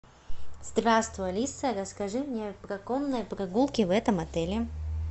здравствуй алиса расскажи мне про конные прогулки в этом отеле